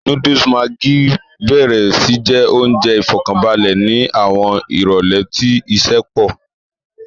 Núdùùsù maggi béèrè sí jẹ́ oúnjẹ ìfọ̀kànbalẹ̀ ni àwọn ìrólé tí iṣẹ́ pọ̀